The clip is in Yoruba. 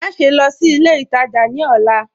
Máṣẹ̀ lọ́ sí ilẹ̀ ìtajá ní ọlá